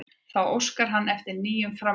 Þá óskar hann eftir nýjum framlögum